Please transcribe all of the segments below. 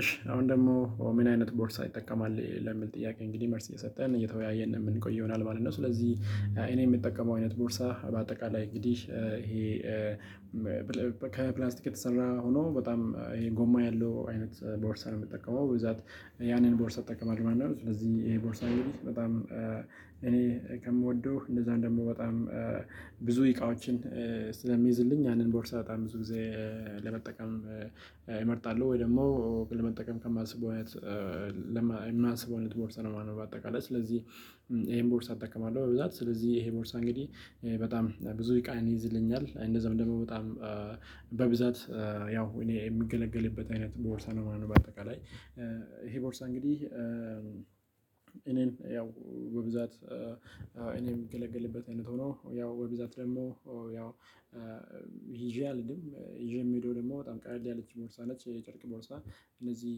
እሺ አሁን ደግሞ ምን አይነት ቦርሳ ይጠቀማል ለሚል ጥያቄ እንግዲህ መልስ እየሰጠን እየተወያየን የምንቆይ ይሆናል ማለት ነው። ስለዚህ እኔ የምጠቀመው አይነት ቦርሳ በአጠቃላይ እንግዲህ ይሄ ከፕላንስቲክ የተሰራ ሆኖ በጣም ይሄ ጎማ ያለው አይነት ቦርሳ ነው። የምጠቀመው በብዛት ያንን ቦርሳ እጠቀማለው ማለት ነው። ስለዚህ ይሄ ቦርሳ ጊዜ በጣም እኔ ከምወደው እንደዛ ደግሞ በጣም ብዙ እቃዎችን ስለሚይዝልኝ ያንን ቦርሳ በጣም ብዙ ጊዜ ለመጠቀም እመርጣለሁ። ወይ ደግሞ ለመጠቀም ከማስበው አይነት የማስበው አይነት ቦርሳ ነው ማለት ነው። በአጠቃላይ ስለዚህ ይሄን ቦርሳ እጠቀማለሁ። በብዛት ስለዚህ ይሄ ቦርሳ እንግዲህ በጣም ብዙ እቃዬን ይይዝልኛል እንደዛ ደግሞ በጣም በብዛት ያው እኔ የምገለገልበት አይነት ቦርሳ ነው ማለት ነው። በአጠቃላይ ይሄ ቦርሳ እንግዲህ እኔን ያው በብዛት እኔ የምገለግልበት አይነት ሆኖ ያው በብዛት ደግሞ ያው አልሄድም ይዤ የምሄደው ደግሞ በጣም ቀለል ያለች ቦርሳ ነች። የጨርቅ ቦርሳ እነዚህ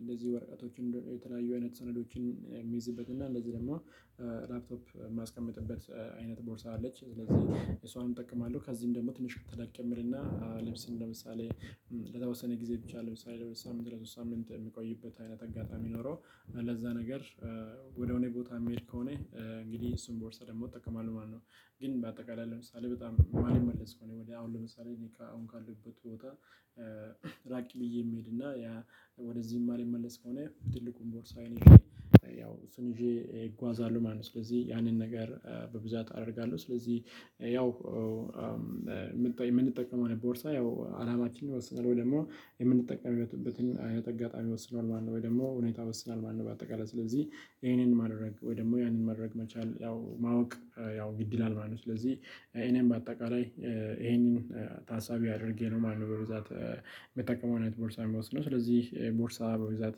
እንደዚህ ወረቀቶችን የተለያዩ አይነት ሰነዶችን የሚይዝበት እና እንደዚህ ደግሞ ላፕቶፕ የማስቀምጥበት አይነት ቦርሳ አለች ስለዚህ እሷንም እጠቀማለሁ። ከዚህም ደግሞ ትንሽ ተለቅ የሚልና እንደምሳሌ ለተወሰነ ጊዜ ብቻ ለምሳሌ ለሁለት ሳምንት ለሶስት ሳምንት የሚቆይበት አይነት አጋጣሚ ኖሮ ለዛ ነገር ወደ ሆነ ቦታ የምሄድ ከሆነ እንግዲህ እሱን ቦርሳ ደግሞ እጠቀማለሁ ማለት ነው። ግን በአጠቃላይ ለምሳሌ በጣም የማልመለስ ከሆነ ወዲያ አሁን ለምሳሌ እኔ አሁን ካለሁበት ቦታ ራቅ ብዬ የምሄድና ያ ወደዚህ ማልመለስ ከሆነ ትልቁን ቦርሳዬን ይዤ እሱን ይዤ እጓዛለሁ ማለት ነው። ስለዚህ ያንን ነገር በብዛት አደርጋለሁ ስለዚህ ያው የምንጠቀመው አይነት ቦርሳ ያው አላማችን ይወስናል ወይ ደግሞ የምንጠቀምበትን አይነት አጋጣሚ ይወስነዋል ማለት ነው ወይ ደግሞ ሁኔታ ይወስናል ማለት ነው። በአጠቃላይ ስለዚህ ይሄንን ማድረግ ወይ ደግሞ ያንን ማድረግ መቻል ያው ማወቅ ያው ግድ ይላል ማለት ነው። ስለዚህ እኔም በአጠቃላይ ይሄንን ታሳቢ አድርጌ ነው ማነው በዛት የምጠቀመው አይነት ቦርሳ የሚወስነው ስለዚህ ቦርሳ በብዛት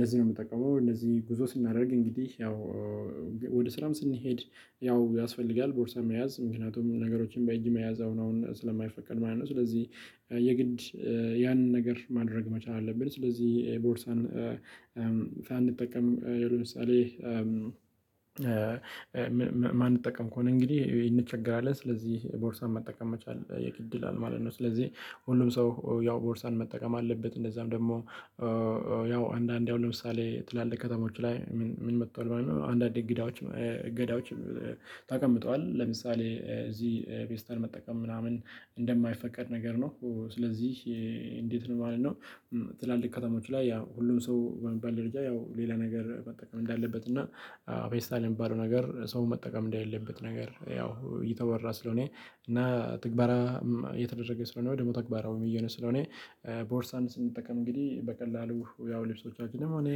ለዚህ ነው። የምጠቀመው እነዚህ ጉዞ ስናደርግ እንግዲህ ያው ወደ ስራም ስንሄድ ያው ያስፈልጋል ቦርሳም መያዝ ምክንያቱም ነገሮችን በእጅ መያዝ አሁን አሁን ስለማይፈቀድ ማለት ነው። ስለዚህ የግድ ያንን ነገር ማድረግ መቻል አለብን። ስለዚህ ቦርሳን ሳንጠቀም ያው ለምሳሌ ማንጠቀም ከሆነ እንግዲህ እንቸገራለን ስለዚህ ቦርሳን መጠቀም መቻል የግድ ይላል ማለት ነው። ስለዚህ ሁሉም ሰው ያው ቦርሳን መጠቀም አለበት። እንደዛም ደግሞ ያው አንዳንዴ አሁን ለምሳሌ ትላልቅ ከተሞች ላይ ምን መጥቷል ማለት ነው። አንዳንድ እንግዳዎች እገዳዎችም ተቀምጠዋል ለምሳሌ እዚህ ፌስታል መጠቀም ምናምን እንደማይፈቀድ ነገር ነው ስለዚህ እንዴት ነው ማለት ነው? ትላልቅ ከተማዎች ላይ ያው ሁሉም ሰው በሚባተ ደረጃ ያው ሌላ ነገር መጠቀም እንዳለበት እና ፌስታል የሚባለው ነገር ሰው መጠቀም እንዴለለበት ነገር ያው እየተወራ ስለሆነ እና ትግበራ የተደረገ ስለሆነ ወይ ደግሞ ተግባራውም እየሆነ ስለሆነ ቦርሳን ስንጠቀም እንግዲህ በቀላሉ ያው ልብሶቻችንም ሆነ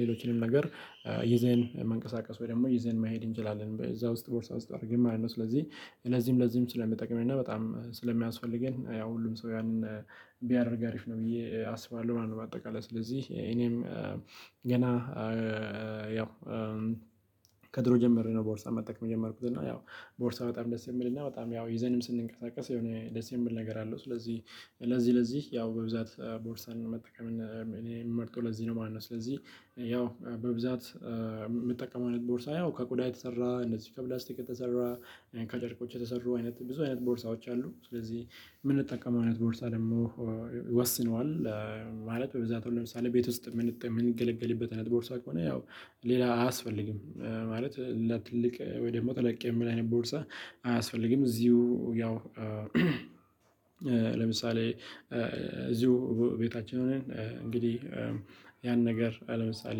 ሌሎችንም ነገር ይዘን መንቀሳቀስ ወይ ደግሞ ይዘን መሄድ እንችላለን። በዛ ውስጥ ቦርሳ ውስጥ አድርግን ማለት ነው። ስለዚህ ለዚህም ለዚህም ስለሚጠቅመን እና በጣም ስለሚያስፈልገን ያው ሁሉም ሰው ያንን ቢያደርግ አሪፍ ነው ብዬ አስባለሁ ማለት ነው። በአጠቃላይ ስለዚህ እኔም ገና ያው መጀመሬ ነው። ቦርሳ መጠቀም የጀመርኩት እና ያው ቦርሳ በጣም ደስ የሚልና በጣም ያው ይዘንም ስንቀሳቀስ የሆነ ደስ የምል ነገር አለው። ስለዚህ ለዚህ ለዚህ ያው በብዛት ቦርሳን መጠቀም እኔ የምመርጠው ለዚህ ነው። ማነው ስለዚህ ያው በብዛት የምጠቀመው አይነት ቦርሳ ያው ከቆዳ የተሰራ እነዚህ ከፕላስቲክ የተሰራ ከጨርቆች የተሰሩ አይነት ብዙ አይነት ቦርሳዎች አሉ። ስለዚህ የምንጠቀመው አይነት ቦርሳ ደግሞ ወስኗል ማለት በብዛት አሁን ለምሳሌ ቤት ውስጥ የምንገለገልበት አይነት ቦርሳ ከሆነ ያው ሌላ አያስፈልግም። ማለት ለትልቅ ወይ ደግሞ ተለቅ የሚል አይነት ቦርሳ አያስፈልግም። እዚሁ ያው ለምሳሌ እዚሁ ቤታችን ሆነን እንግዲህ ያን ነገር አለምሳሌ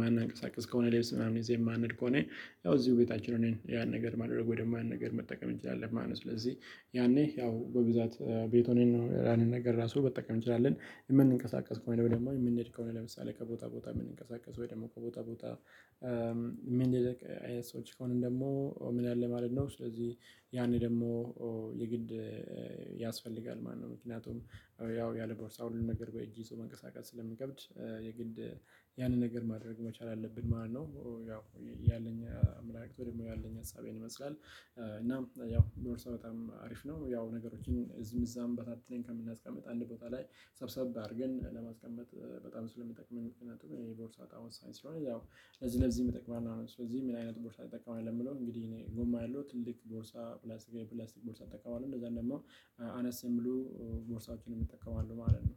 ማናቀሳቅስ ከሆነ ሌብስ ምናምን ይዘን የማንድሄድ ከሆነ ያው እዚሁ ቤታችን ሆነን ያን ነገር ማድረግ ወይም ያን ነገር መጠቀም እንችላለን ማለት ነው። ስለዚህ ያኔ ያው በብዛት ቤት ሆነን ነው ያንን ነገር ራሱ መጠቀም እንችላለን። የምንንቀሳቀስ ከሆነ ደግሞ የምንሄድ ከሆነ ለምሳሌ ከቦታ ቦታ የምንቀሳቀሰው ወይ ደግሞ ከቦታ ቦታ ልክ አይነት ሰዎች ከሆንን ደግሞ ምን ያለ ማለት ነው ስለዚህ ያኔ ደግሞ የግድ ያስፈልጋል ማለት ነው። ምክንያቱም ያው ያለ ቦርሳው ሁሉን ነገር በእጅ ይዞ መንቀሳቀስ ስለሚከብድ የግድ ያንን ነገር ማድረግ መቻል አለብን ማለት ነው። ያው ያለኝ አመለካከት ወይ ደግሞ ያለኝ ሀሳብ ይሄን ይመስላል። እናም ያው ቦርሳ በጣም አሪፍ ነው። ያው ነገሮችን እዚም እዛም በታተን ከምናስቀምጥ አንድ ቦታ ላይ ሰብሰብ አድርገን ለማስቀመጥ በጣም ስለሚጠቅመን ምክንያቱም የቦርሳ እቃ ወሳኝ ስለሆነ ያው ለዚህ ለዚህ ይጠቅማል። ስለዚህ ምን አይነት ቦርሳ ይጠቀማል ከሚለው እንግዲህ እኔ ጎማ ያለው ትልቅ ቦርሳ ፕላስቲክ የፕላስቲክ ቦርሳ እጠቀማለሁ። እንደዛም ደግሞ አነስ የሚሉ ቦርሳዎችን እጠቀማለሁ ማለት ነው